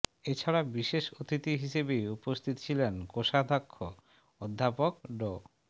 এছাড়া বিশেষ অতিথি হিসেবে উপস্থিত ছিলেন কোষাধ্যক্ষ অধ্যাপক ড